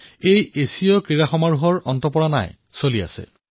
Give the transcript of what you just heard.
এতিয়াও Asian games চলি আছে